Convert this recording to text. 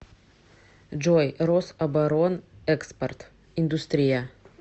джой рособоронэкспорт индустрия